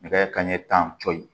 Nɛgɛ kanɲɛ tan cɔyi